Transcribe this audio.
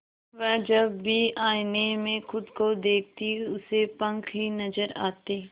वह जब भी आईने में खुद को देखती उसे पंख ही नजर आते